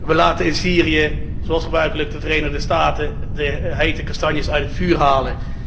We laten in Syrië, zoals gebruikelijk, de Verenigde Staten de hete kastanjes uit het vuur halen.